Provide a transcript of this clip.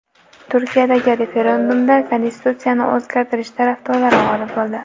Turkiyadagi referendumda konstitutsiyani o‘zgartirish tarafdorlari g‘olib bo‘ldi.